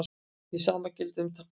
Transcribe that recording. Hið sama gildir um táknmál.